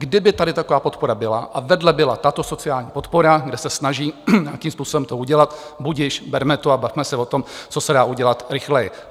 Kdyby tady taková podpora byla a vedle byla tato sociální podpora, kde se snaží nějakým způsobem to udělat, budiž, berme to a bavme se o tom, co se dá udělat rychleji.